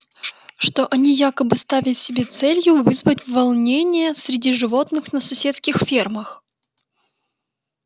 что они якобы ставят себе целью вызвать волнения среди животных на соседских фермах